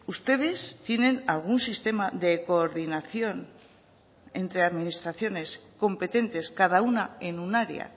ustedes tienen algún sistema de coordinación entre administraciones competentes cada una en un área